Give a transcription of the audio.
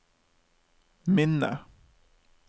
minne